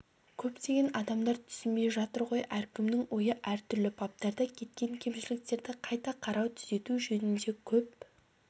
көптеген адамдар түсінбей жатыр ғой әркімнің ойы әртүрлі баптарда кеткен кемшіліктерді қайта қарау түзету жөнінде көп